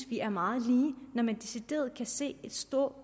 vi er meget lige når man decideret kan se en større